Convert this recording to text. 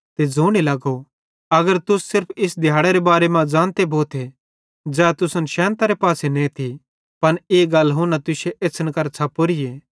ते ज़ोने लगो अगर तुस सिर्फ इस दिहैड़रे बारे मां ज़ानते भोथे ज़ै तुसन शैन्तरे पासे नेती पन ई गल हुना तुश्शे एछ़्छ़न करां छ़पोरीए